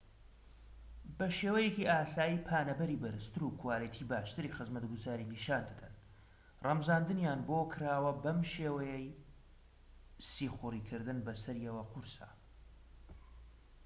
بە شێوەیەکی ئاسایی پانەبەری بەرزتر و کواڵیتی باشتری خزمەتگوزاری نیشان دەدەن ڕەمزاندنیان بۆ کراوە و بەم شێوەیە سیخوڕی کردن بە سەریەوە قورسە